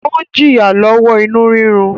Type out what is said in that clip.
O n jìya lọwọ inú rírú